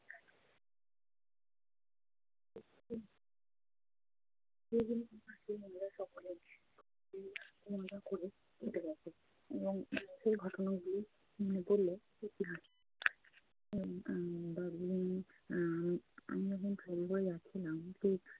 এবং সেই ঘটনাগুলি মনে পড়লে সত্যি হাসি আহ দার্জিলিং আমি আমি যখন যাচ্ছিলাম